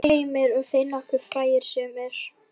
Heimir: Og þeir nokkuð frægir sumir?